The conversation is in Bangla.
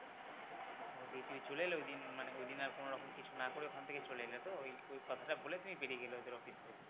ও দিয়ে তুই চলে এলে ওইদিন ওইদিন মানে আর কোনো রকম কিছু না করে ওখান থেকে চলে এলে তো ওই কথা টা বলে তুমি বেরিয়ে গেলে ওদের office থেকে